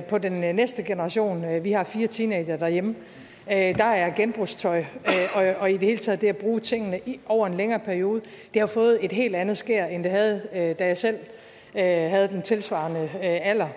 på den næste generation vi har fire teenagere derhjemme at genbrugstøj og i det hele taget det at bruge tingene over en længere periode har fået et helt andet skær end det havde da jeg selv havde den tilsvarende alder